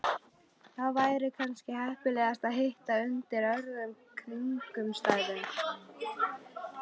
Það væri kannski heppilegra að hittast undir öðrum kringumstæðum